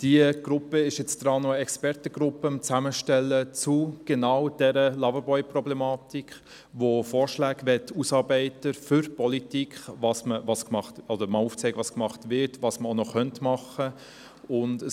Diese stellt derzeit eine Expertengruppe zur Loverboy-Problematik zusammen, um Vorschläge zuhanden der Politik auszuarbeiten, um aufzuzeigen, was unternommen wird und was noch unternommen werden könnte.